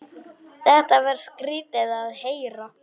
Þetta var skrýtið að heyra.